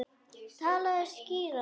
Talaðu skýrar.